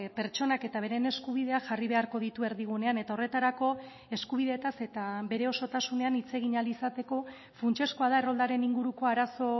pertsonak eta beren eskubideak jarri beharko ditu erdigunean eta horretarako eskubideetaz eta bere osotasunean hitz egin ahal izateko funtsezkoa da erroldaren inguruko arazo